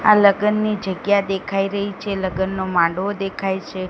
આ લગનની જગ્યા દેખાય રહી છે લગનનો માંડવો દેખાય છે.